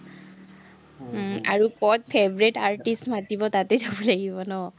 ক'ত favourite artist মাতিব, তাতে যাব লাগিব ন?